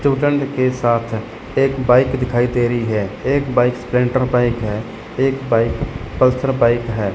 Student के साथ एक बाइक दिखाई दे रही है एक बाइक स्पलेंडर बाइक है एक बाइक पल्सर बाइक है।